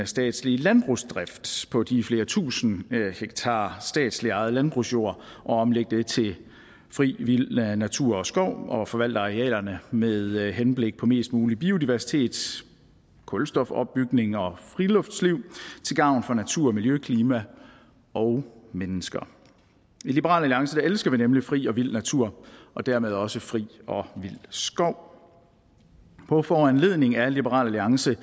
statslige landbrugsdrift på de flere tusind hektar statsligt ejet landbrugsjord og omlægge det til fri vild natur og skov og forvalte arealerne med henblik på mest mulig biodiversitet kulstofopbygning og friluftsliv til gavn for natur miljø klima og mennesker i liberal alliance elsker vi nemlig fri og vild natur og dermed også fri og vild skov på foranledning af liberal alliance